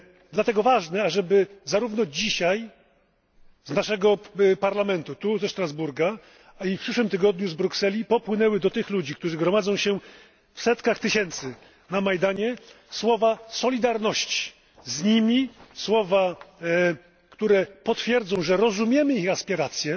Dlatego ważne jest, ażeby zarówno dzisiaj z naszego Parlamentu, tu ze Strasburga, jak i w przyszłym tygodniu z Brukseli popłynęły do tych ludzi, którzy gromadzą się w setkach tysięcy na Majdanie, słowa solidarności z nimi, słowa, które potwierdzą, że rozumiemy ich aspiracje,